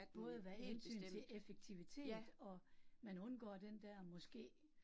Både hvad hensyn til effektivitet og, man undgår den der måske